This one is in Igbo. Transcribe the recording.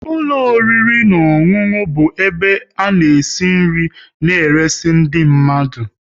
ụlọ oriri na ọṅụṅụ bụ ebe ana esi nri na eresi ndị mmadụ